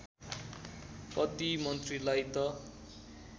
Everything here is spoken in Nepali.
कति मन्त्रीलाई त